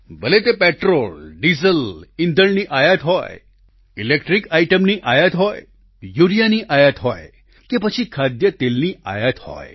ભલે તે petrol diesel ઈંધણની આયાત હોય ઈલેક્ટ્રિક આઈટમની આયાત હોય યૂરિયાની આયાત હોય કે પછી ખાદ્ય તેલની આયાત હોય